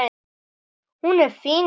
Hún er fín kona.